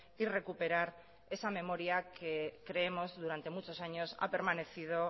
y recuperar esa memoria que creemos durante muchos años ha permanecido